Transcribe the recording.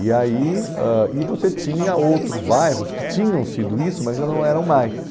E aí ãh e você tinha outros bairros que tinham sido isso, mas já não eram mais.